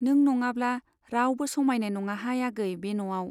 नों नङाब्ला रावबो समाइनाय नङाहाय आगै बे न'आव।